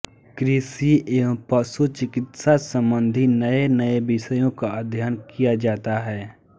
कृषि एवं पशु चिकित्सा सम्बन्धी नयेनये विषयों का अध्ययन किया जाता है